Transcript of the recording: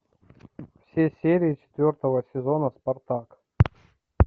все серии четвертого сезона спартак